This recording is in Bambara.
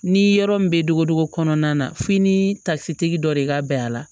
Ni yɔrɔ min bɛ dogo kɔnɔna na f'i ni tafisitigi dɔ de ka bɛn a la